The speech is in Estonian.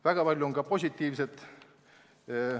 Väga palju oli ka positiivset.